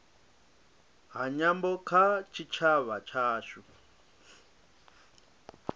ha nyambo kha tshitshavha tshashu